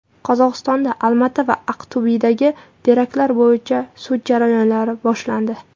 Qozog‘istonda Olmaota va Aqto‘bedagi teraktlar bo‘yicha sud jarayonlari boshlandi.